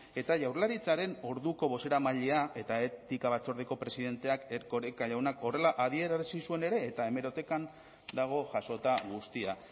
eta jaurlaritzaren orduko bozeramailea eta etika batzordeko presidenteak erkoreka jaunak horrela adierazi zuen ere eta hemerotekan dago jasota guztia